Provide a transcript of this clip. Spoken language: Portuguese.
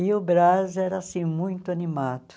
E o Brás era, assim, muito animado.